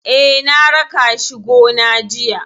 Eh, na raka shi gona jiya.